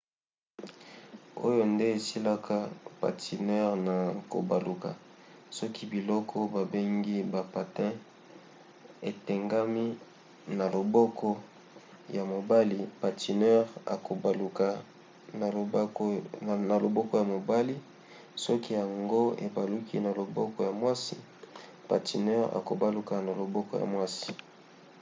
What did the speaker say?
oyo nde esalisaka patineur na kobaluka. soki biloko babengi ba patins etengami na loboko ya mobali patineur akobaluka na loboko ya mobali soki yango ebaluki na loboko ya mwasi patineur akobaluka na loboko ya mwasi